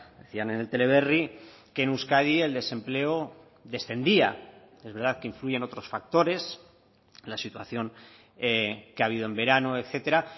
decían en el teleberri que en euskadi el desempleo descendía es verdad que influyen otros factores la situación que ha habido en verano etcétera